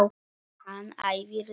Hann æfir líka.